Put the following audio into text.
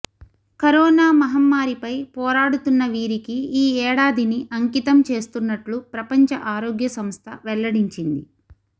corona మహమ్మారిపై పోరాడుతున్నవీరికి ఈ ఏడాదిని అంకితం చేస్తున్నట్లు ప్రపంచ ఆరోగ్య సంస్థ వెల్లడించింది